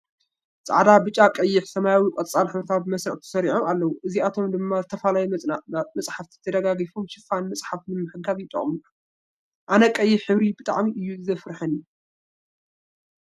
ፃዕዳ፣ ብጫ፣ ቀይሕ፣ ሰማያዊ፣ ቆፃል ሕብሪታት ብመስርዕ ተሰሪዖም ኣለው። አእዚኣቶም ድማ ዝተፈላለዩ መፅሓፍቲ ደጋዊ ሽፋን ምፅሓፍ ንምሓዝ ይጠቅሙ። ኣነ ቀይሕ ሕብሪ ብጣዕሚ እዩ ዘፍርሐኒ ።